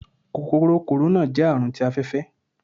Kòkòrò kòróná. jẹ Àrùn tí afẹfẹ